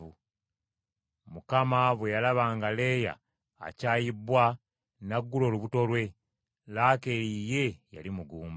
Mukama bwe yalaba nga Leeya akyayibbwa n’aggula olubuto lwe. Laakeeri ye yali mugumba.